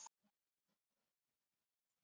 Hún tekur nokkrar vikur.